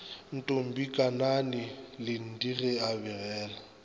ntombikanani linde ge a begela